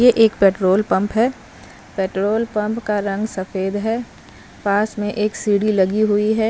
ये एक petrol pump हैं पेट्रोल पंप का रंग सफेद हैं पास में एक सीडी लगी हुई हैं।